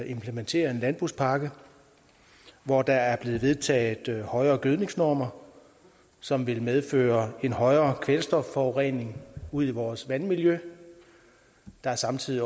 implementere en landbrugspakke hvor der er blevet vedtaget højere gødningsnormer som vil medføre en højere kvælstofforurening ud i vores vandmiljø der er samtidig